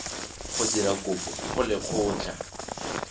go dira kopo go lekgotlha